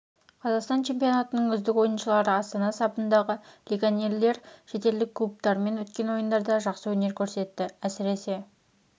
қазақстан чемпионатының үздік ойыншылары астана сапындағы легионерлер шетелдік клубтармен өткен ойындарда жақсы өнер көрсетті әсіресе